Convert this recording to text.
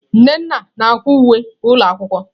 Nnenna na-akwa uwe ụlọ akwụkwọ.